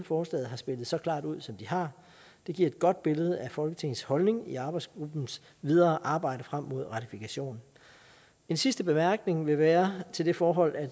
forslaget har spillet så klart ud som de har det giver et godt billede af folketingets holdning i arbejdsgruppens videre arbejde frem mod ratifikation en sidste bemærkning vil være til det forhold at